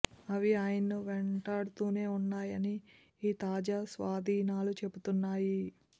అవి ఆయనను వెంటాడుతూనే వున్నాయని ఈ తాజా స్వాధీనాలు చెబుతున్నాయి